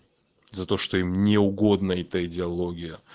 за то что им не угодна эта идеалогия